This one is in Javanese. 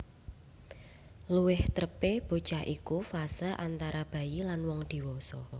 Luwih trepé bocah iku fase antara bayi lan wong diwasa